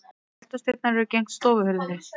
Eldhúsdyrnar eru gegnt stofuhurðinni.